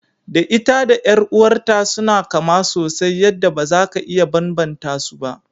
Da ita da ƴar'uwar ta suna kama sosai yanda baza ka iya banbanta su ba.